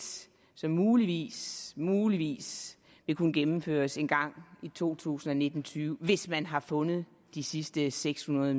som muligvis muligvis vil kunne gennemføres en gang i to tusind og nitten til tyve hvis man har fundet de sidste seks hundrede